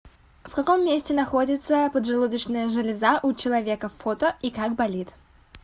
в каком месте находится поджелудочная железа у человека фото и как болит